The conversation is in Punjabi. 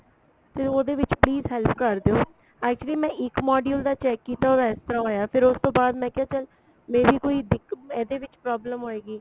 ਤੇ ਉਹਦੇ ਵਿੱਚ please help ਕਰ ਦਿਉ actually ਮੈਂ ਇੱਕ module ਦਾ check ਕੀਤਾ ਉਸਦਾ ਇਹ ਤਰ੍ਹਾਂ ਹੋਇਆ ਫੇਰ ਉਸ ਤੋਂ ਬਾਅਦ ਮੈਂ ਕਿਹਾ ਚਲ may be ਕੋਈ ਦਿਕ ਇਹਦੇ ਵਿੱਚ problem ਹੋਏਗੀ